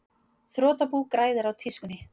Þrotabú græðir á tískunni